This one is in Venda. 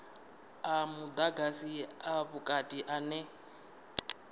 a mudagasi a vhukati ane